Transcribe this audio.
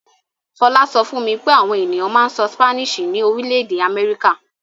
Fọlá sọ fún mi pé àwọn ènìyàn máa ń sọ Spanish ní orílẹ̀-èdè Amẹ́ríkà.